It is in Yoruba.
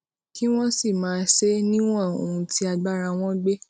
kí wón sì máa ṣe é níwòn ohun tí agbára wọn gbé